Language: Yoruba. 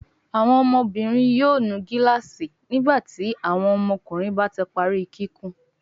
Awọn ọmọbinrin yóò nu gilaasi nígbàtí àwọn ọmọkùnrin bá tí parí kíkún.